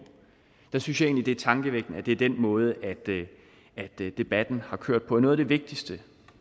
jeg synes egentlig det er tankevækkende at det er den måde debatten har kørt på noget af det vigtigste